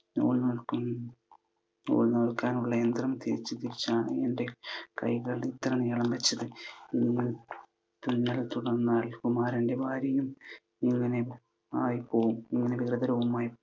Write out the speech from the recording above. നൂൽ നൂൽക്കാനുള്ള യന്ത്രം തിരിച്ചു തിരിച്ചാണ് എൻ്റെ കൈകൾ ഇത്രയും നീളം വച്ചത്. ഇങ്ങനെ തുന്നൽ തുടർന്നാൽ കുമാരൻ്റെ ഭാര്യയും ഇങ്ങനെ ആയി പോകും. വികൃതരൂപമായി